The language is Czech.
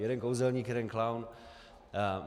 Jeden kouzelník, jeden klaun.